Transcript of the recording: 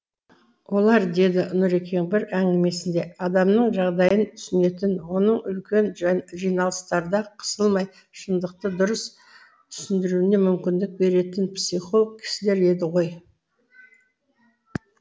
олар деді нұрекең бір әңгімесінде адамның жағдайын түсінетін оның үлкен жиналыстарда қысылмай шындықты дұрыс түсіндіруіне мүмкіндік беретін психолог кісілер еді ғой